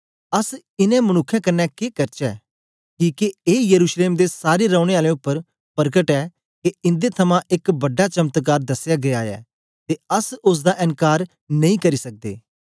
अस इनें मनुक्खें कन्ने के करचै किके ए यरूशलेम दे सारे रौनें आलें उपर परकट ऐ के इंदे थमां एक बड़ा चमत्कार दसेया गीया ऐ ते अस ओसदा एन्कार नेई करी सकदे